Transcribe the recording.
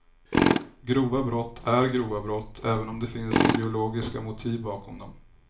Grova brott är grova brott även om det finns ideologiska motiv bakom dem.